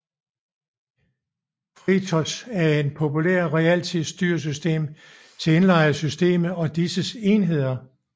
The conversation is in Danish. FreeRTOS er en populær realtidsstyresystem til indlejrede systemer og disses enheder